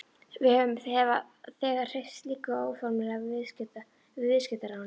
Við höfum þegar hreyft slíku óformlega við viðskiptaráðuneytið.